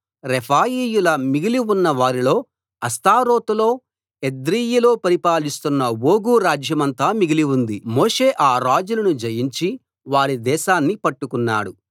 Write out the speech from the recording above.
రెఫాయీయుల్లో మిగిలి ఉన్నవారిలో అష్తారోతులో ఎద్రెయీలో పరిపాలిస్తున్న ఓగు రాజ్యమంతా మిగిలి ఉంది మోషే ఆ రాజులను జయించి వారి దేశాన్ని పట్టుకున్నాడు